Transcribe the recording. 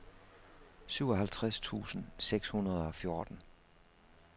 syvoghalvtreds tusind seks hundrede og fjorten